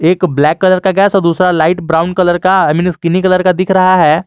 एक black colour का gas दूसरा लाइट ब्राउन कलर का कलर का दिख रहा है।